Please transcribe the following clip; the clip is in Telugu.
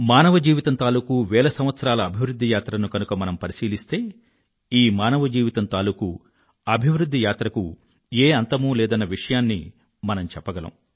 మానవజీవితం తాలూకూ వేల సంవత్సరాల అభివృధ్ధి యాత్రను గనుక మనం పరిశీలిస్తే ఈ మానవజీవితం తాలూకూ అభివృధ్ధి యాత్రకు ఏ అంతమూ లేదన్న విషయాన్ని మనం చెప్పగలం